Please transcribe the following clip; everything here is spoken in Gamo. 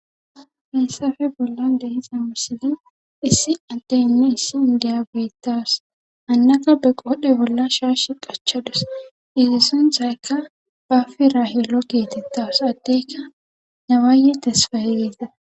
heessafe bolla deisa wirsilin issi addeynne issi indiya geettas hannaka be qodhe bolla shaash qachadus izi sunthaykka bafirahilo geetettaws addeyka nawaaye tesfayeiza